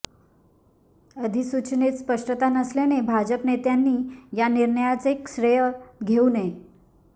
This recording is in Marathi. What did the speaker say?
अधिसूचनेत स्पष्टता नसल्याने भाजप नेत्यांनी या निर्णयाचे श्रेय घेऊ नये